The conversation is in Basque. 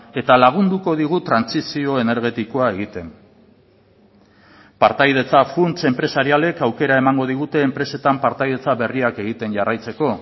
eta lagunduko digu trantsizio energetikoa egiten partaidetza funts enpresarialek aukera emango digute enpresetan partaidetza berriak egiten jarraitzeko